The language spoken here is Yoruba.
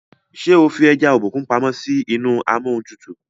ṣe o fí eja Obokun pàmò sí inú Amóhuntutù?